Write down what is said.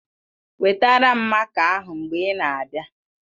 Wetara m máká ahụ mgbe ị na-abịa